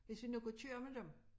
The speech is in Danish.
Hvis vi nu kunne køre med dem